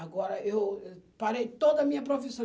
Agora eu parei toda a minha profissão.